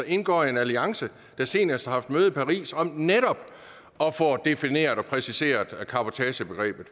indgår i en alliance der senest har haft møde i paris om netop at få defineret og præciseret cabotagebegrebet